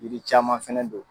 yiri caman fɛnɛ don.